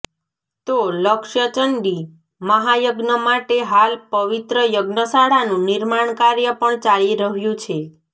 તો લક્ષચંડી મહાયજ્ઞ માટે હાલ પવિત્ર યજ્ઞશાળાનું નિર્માણ કાર્ય પણ ચાલી રહ્યું છે